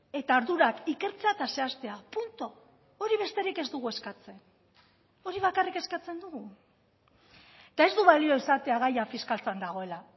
eta ardurak ikertzea eta zehaztea puntu hori besterik ez dugu eskatzen hori bakarrik eskatzen dugu eta ez du balio esatea gaia fiskaltzan dagoela